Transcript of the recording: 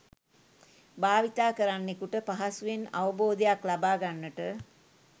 භාවිතා කරන්නෙකුට පහසුවෙන් අවබෝධයක් ලබා ගන්නට